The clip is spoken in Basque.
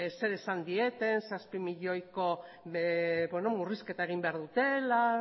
zer esan dieten zazpi milioi euroko murrizketa egin behar dutela